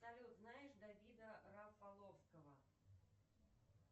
салют знаешь давида рафаловского